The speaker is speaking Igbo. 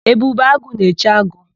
Ebube agụ na-eche agụ.